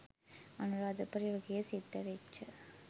අනුරාධපුර යුගයේ සිද්ධ වෙච්ච